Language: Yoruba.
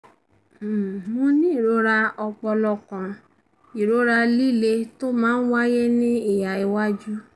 um mo ní àwọn ìrora ọpọlọ kan: ìrora líle tó máa ń wáyé ní ìhà iwájú